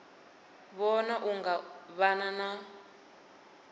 vhona u nga vha na